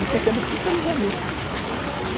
E comecei a me especializar nisso.